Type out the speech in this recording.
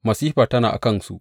Masifa tana a kansu!